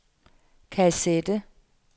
kassette